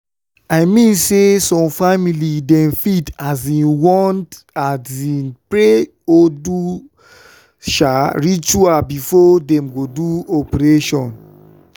i mean say some family dem fit um want um pray or do um ritual before dem go do operation